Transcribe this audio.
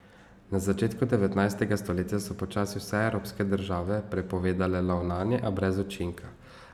Na začetku devetnajstega stoletja so počasi vse evropske države prepovedale lov nanje, a brez učinka.